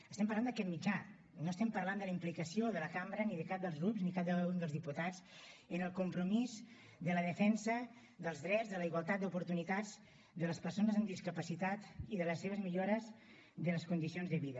estem parlant d’aquest mitjà no estem parlant de la implicació de la cambra ni de cap dels grups ni de cada un dels diputats en el compromís de la defensa dels drets de la igualtat d’oportunitats de les persones amb discapacitat i de les seves millores de les condicions de vida